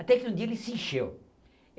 Até que um dia ele se encheu.